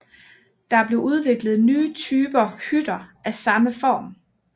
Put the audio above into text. Der blev udviklet nye typer hytter af samme form